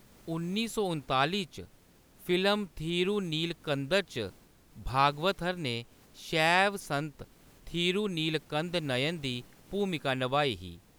उन्नी सौ उनतालीं च फिल्म थिरुनीलकंदर च भागवथर ने शैव संत थिरुनीलकंद नयन दी भूमिका नभाई ही।